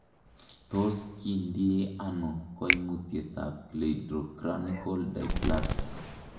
Tos kigindie ono koimutietab cleidocranial dysplasia ?